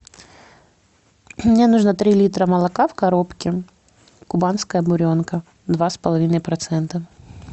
мне нужно три литра молока в коробке кубанская буренка два с половиной процента